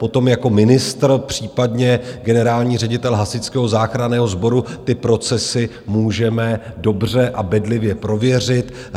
Potom jako ministr, případně generální ředitel Hasičského záchranného sboru ty procesy můžeme dobře a bedlivě prověřit.